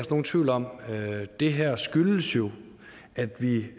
nogen tvivl om det her skyldes jo at vi